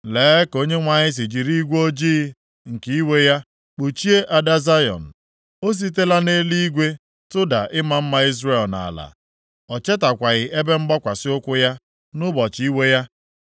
Lee ka Onyenwe anyị si jiri igwe ojii nke iwe ya kpuchie ada Zayọn! O sitela nʼeluigwe tụda ịma mma Izrel nʼala, o chetakwaghị ebe mgbakwasị ụkwụ ya, nʼụbọchị iwe ya.